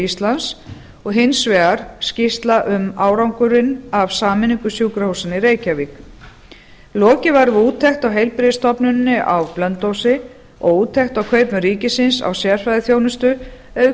íslands og hins vegar skýrsla um árangri af sameiningu sjúkrahúsanna í reykjavík lokið var við úttekt á heilbrigðisstofnuninni á blönduósi og úttekt á kaupum ríkisins á sérfræðiþjónustu auk